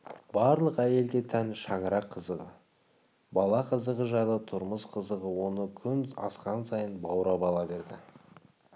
барлық әйелге тән шаңырақ қызығы бала қызығы жайлы тұрмыс қызығы оны күн асқан сайын баурап ала берді